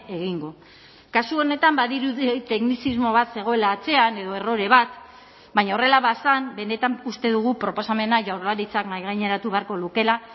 egingo kasu honetan badirudi teknizismo bat zegoela atzean edo errore bat baina horrela bazen benetan uste dugu proposamena jaurlaritzak mahaigaineratu beharko lukeela